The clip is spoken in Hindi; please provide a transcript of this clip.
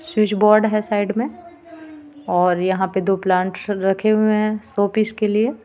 स्विच बोर्ड हे साइड मे और यहाँ पे दो प्लांट रखे हुई हे शो पीस के लिए.